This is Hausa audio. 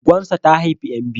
Goggonsa ta haifi ƴan biyu.